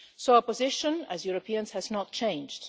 Our position as Europeans has not changed.